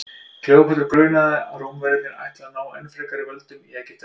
kleópötru grunaði að rómverjarnir ætluðu að ná enn frekari völdum í egyptalandi